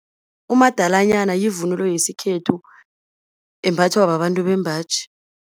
Umadalanyana yivunulo yesikhethu, embathwa babantu bembaji.